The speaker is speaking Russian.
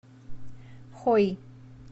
хой